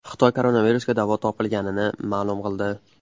Xitoy koronavirusga davo topilganini ma’lum qildi.